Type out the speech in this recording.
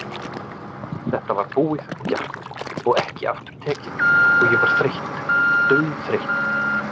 Þetta var búið og gert og ekki aftur tekið og ég var þreytt, dauðþreytt.